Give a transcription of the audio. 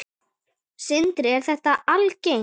Sindri: Er þetta algengt?